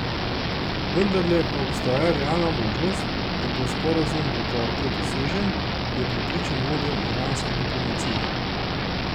Vendarle pa obstaja realna možnost, da bo sporazum do torka dosežen, je prepričan vodja iranske diplomacije.